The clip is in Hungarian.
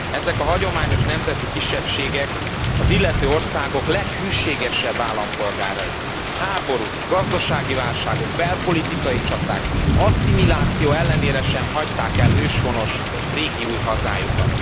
Ezek a hagyományos nemzeti kisebbségek az illető országok leghűségesebb állampolgárai. Háborúk, gazdasági válságok, belpolitikai csaták, asszimiláció ellenére sem hagyták el őshonos, régi új hazájukat.